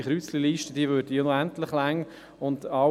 Diese Liste würde unendlich lange werden.